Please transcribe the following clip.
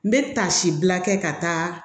N bɛ taasi bila kɛ ka taa